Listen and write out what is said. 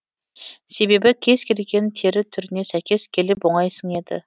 себебі кез келген тері түріне сейкес келіп оңай сіңеді